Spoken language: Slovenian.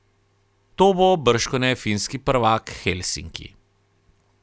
To bo bržkone finski prvak Helsinki.